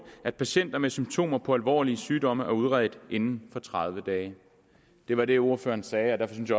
at patienter med symptomer på alvorlige sygdomme er udredt inden for tredive dage det var det ordføreren sagde og derfor synes